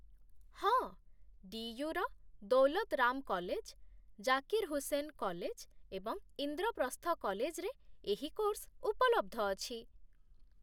ହଁ, ଡି.ୟୁ.ର Daulat Ram college, Zakir Hussain college, ଏବଂ ଇନ୍ଦ୍ରପ୍ରସ୍ଥ କଲେଜରେ ଏହି କୋର୍ସ ଉପଲବ୍ଧ ଅଛି